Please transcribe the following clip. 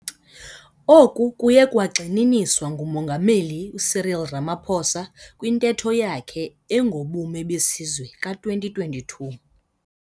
Oku kuye kwagxininiswa nguMongameli Cyril Ramaphosa kwiNtetho yakhe engoBume beSizwe ka-2022.